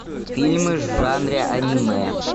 фильмы в жанре аниме